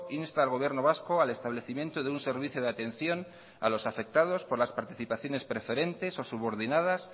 insta al gobierno vasco al establecimiento de un servicio de atención a los afectados por las participaciones preferentes o subordinadas